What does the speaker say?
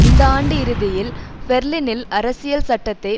இந்த ஆண்டு இறுதியில் பெர்லினில் அரசியல் சட்டத்தை